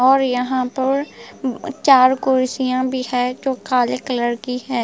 और यहाँ पर मम चार कुर्सियाँ भी है जो काले कलर की है ।